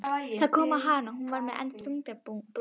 Það kom á hana og hún varð enn þungbúnari.